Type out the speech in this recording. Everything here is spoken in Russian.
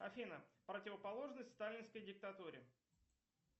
афина противоположность сталинской диктатуре